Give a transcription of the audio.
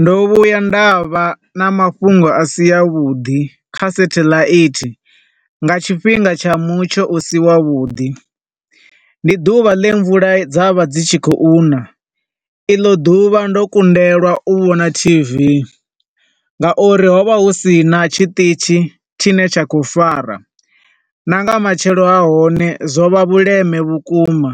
Ndo vhuya nda vha na mafhungo a si a vhuḓi kha sathelaithi, nga tshifhinga tsha mutsho u si wa vhuḓi, ndi ḓuvha ḽe mvula dza vha dzi tshi khou nṋa, i ḽo ḓuvha ndo kundelwa u vhona TV, nga uri ho vha hu sina tshiṱitzhi tshi ne tsha khou fara, na nga matshelo ha hone zwo vha vhuleme vhukuma,